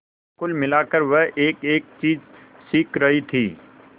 कुल मिलाकर वह एकएक चीज सीख रही थी